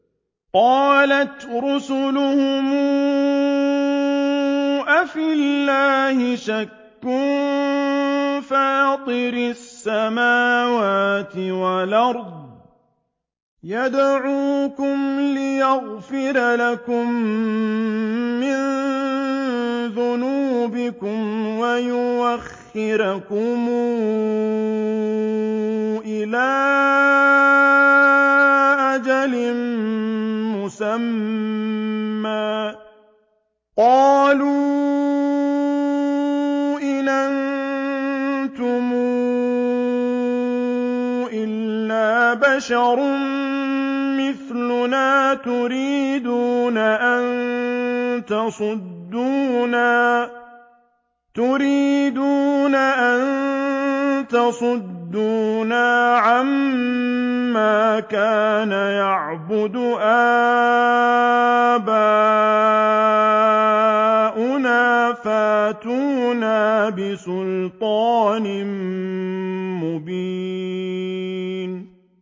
۞ قَالَتْ رُسُلُهُمْ أَفِي اللَّهِ شَكٌّ فَاطِرِ السَّمَاوَاتِ وَالْأَرْضِ ۖ يَدْعُوكُمْ لِيَغْفِرَ لَكُم مِّن ذُنُوبِكُمْ وَيُؤَخِّرَكُمْ إِلَىٰ أَجَلٍ مُّسَمًّى ۚ قَالُوا إِنْ أَنتُمْ إِلَّا بَشَرٌ مِّثْلُنَا تُرِيدُونَ أَن تَصُدُّونَا عَمَّا كَانَ يَعْبُدُ آبَاؤُنَا فَأْتُونَا بِسُلْطَانٍ مُّبِينٍ